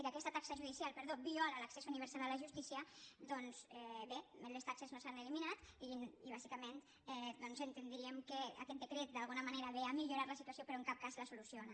que aquesta taxa judicial perdó viola l’accés universal a la justícia doncs bé les taxes no s’han eliminat i bàsicament doncs entendríem que aquest decret d’alguna manera ve a millorar la situació però en cap cas la soluciona